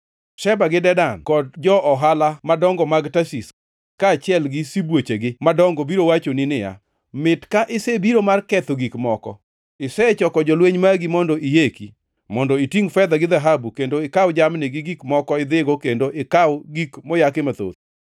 Sheba gi Dedan kod jo-ohala madongo mag Tarshish kaachiel gi sibuochegi madongo biro wachoni niya, “Mit ka isebiro mar ketho gik moko? Isechoko jolweny magi mondo iyeki; mondo itingʼ fedha gi dhahabu, kendo ikaw jamni gi gik moko idhigo kendo ikaw gik moyaki mathoth?” ’